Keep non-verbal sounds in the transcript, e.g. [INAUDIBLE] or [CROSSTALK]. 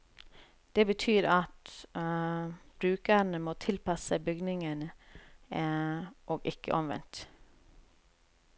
Det betyr at [HESITATION] brukerne må tilpasse seg bygningen, [HESITATION] og ikke omvendt.